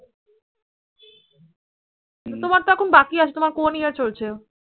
হম তোমার তো এখন বাকি আছে তোমার কোন year চলছে?